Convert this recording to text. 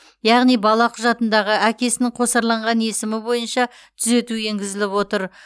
яғни бала құжатындағы әкесінің қосарланған есімі бойынша түзету енгізіліп отыр